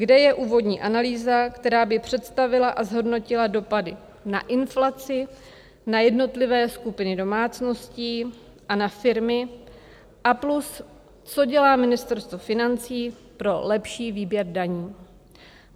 Kde je úvodní analýza, která by představila a zhodnotila dopady na inflaci, na jednotlivé skupiny domácností a na firmy a plus, co dělá Ministerstvo financí pro lepší výběr daní?